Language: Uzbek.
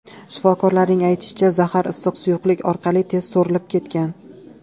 Shifokorlarning aytishicha, zahar issiq suyuqlik orqali tez so‘rilib ketgan.